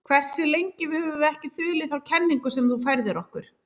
Hversu lengi höfum við ekki þulið þá kenningu sem þú færðir okkur?